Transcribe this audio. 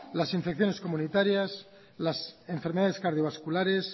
las infecciones comunitarias las enfermedades cardiovasculares